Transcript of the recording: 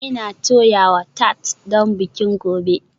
Ina toyawa tart don bikin gobe